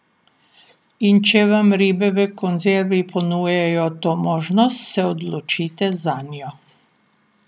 In če vam ribe v konzervi ponujajo to možnost, se odločite zanjo.